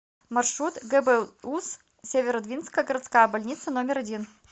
маршрут гбуз северодвинская городская больница номер один